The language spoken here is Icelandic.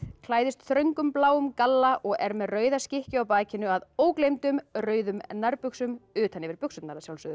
klæðist þröngum bláum galla og er með rauða skikkju á bakinu að ógleymdum rauðum nærbuxum utan yfir